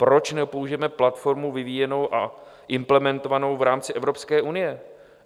Proč nepoužijeme platformu vyvíjenou a implementovanou v rámci Evropské unie?